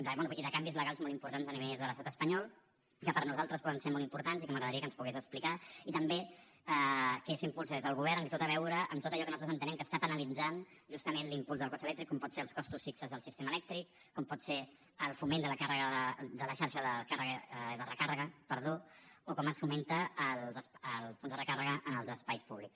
bé i de canvis legals molt importants a nivell de l’estat espanyol que per nosaltres poden ser molt importants i que m’agradaria que ens pogués explicar i també què s’impulsa des del govern en tot allò que nosaltres entenem que està penalitzant justament l’impuls del cotxe elèctric com poden ser els costos fixos del sistema elèctric com pot ser el foment de la xarxa de recàrrega o com es fomenta el fons de recàrrega en els espais públics